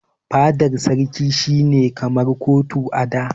Fadan sarki shi ne kamar kotu a da.